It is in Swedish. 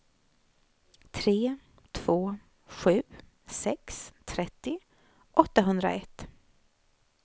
tre två sju sex trettio åttahundraett